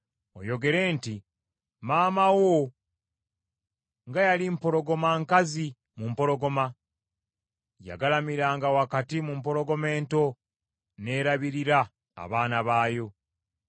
oyogere nti, “ ‘Maama wo nga yali mpologoma nkazi, mu mpologoma! Yagalamiranga wakati mu mpologoma ento, n’erabirira abaana baayo.